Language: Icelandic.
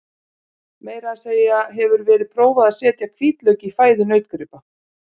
Meira að segja hefur verið prófað er að setja hvítlauk í fæðu nautgripa.